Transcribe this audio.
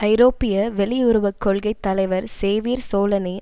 ஐரோப்பிய வெளியுறவு கொள்கை தலைவர் சேவிர் சோலனி